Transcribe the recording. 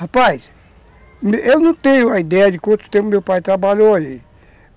Rapaz, eu não tenho uma ideia de quanto tempo meu pai trabalhou ali.